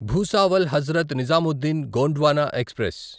Bhusawal Hazrat Nizamuddin Gondwana express